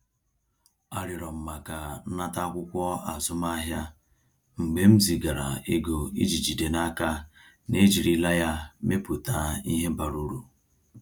Arịọrọ m maka nnata akwụkwọ azụmahịa mgbe m zigara ego iji jide n’aka na ejirila ya mepụta ihe bara uru.